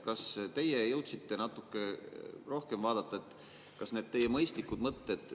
Kas teie jõudsite natuke rohkem vaadata, kas need teie mõistlikud mõtted …